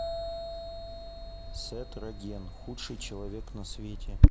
сет роген худший человек на свете